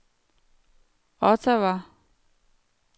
Ottawa